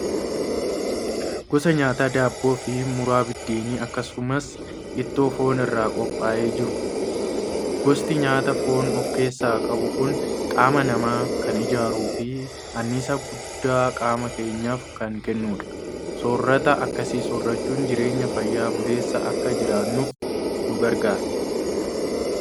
Gosa nyaataa daabboo fi muraa biddeenaa akkasumas ittoo foonii irraa qophaa'ee jiru. Gosti nyaataa foon ofkeessaa qabu kun qaama namaa kan ijaaruu fi anniisaa guddaa qaama keenyaaf kan kennudha. Soorata akkasii soorachuun jireenya fayya buleessa akka jiraannuuf nu gargaara.